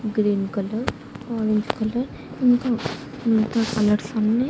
Green colour orange colour ఇంకా ఇంకా colours అన్నీ.